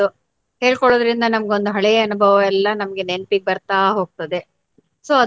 ಹೇಳ್ಕೊಳ್ವುದ್ರಿಂದ ನಮಗೊಂದು ಹಳೇ ಅನುಭವ ಎಲ್ಲ ನಮ್ಗೆ ನೆನಪಿಗ್ ಬರ್ತಾ ಹೊಗ್ತದೆ so .